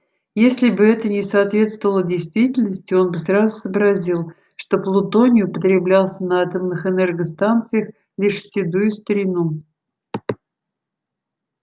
если бы это не соответствовало действительности он бы сразу сообразил что плутоний употреблялся на атомных энергостанциях лишь в седую старину